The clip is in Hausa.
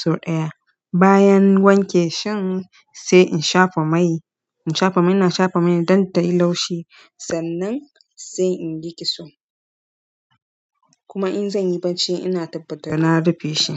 sau ɗaya. Bayan wanke shin sai in shafa mai, in shafa mai ina shafa mai don tayi laushi. Sannan sai in yi kitso. Kuma in zan yi barci ina tabbatar na rufe shi.